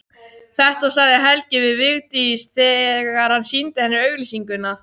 Þetta sagði Helgi við Vigdísi þegar hann sýndi henni auglýsinguna.